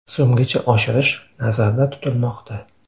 so‘mgacha oshirish nazarda tutilmoqda.